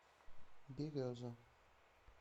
береза